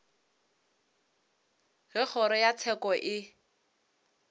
ge kgoro ya tsheko e